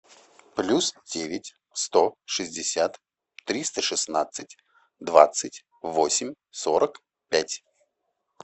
плюс девять сто шестьдесят триста шестнадцать двадцать восемь сорок пять